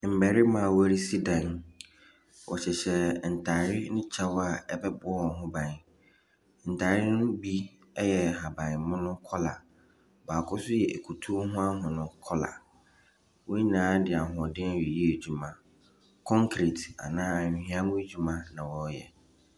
Mmarima a wɔresi dan wɔhyehyɛ ntaare ne kyɛ a ɛbɛbɔ wɔn ho ban. Ntaare no mu yɛ yɛ ahabanmono colour baako nso yɛ akutuo ho ahon colour. Wɔn nyinaa de ahoɔden reyɛ adwuma. Concrete anaa anwea ho adwuma.